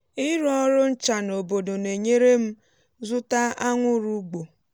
ịrụ oru ncha n’obodo na-enyere m zụta anwụrụ ugbo.